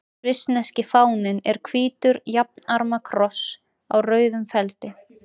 Svissneski fáninn er hvítur jafnarma kross á rauðum feldi.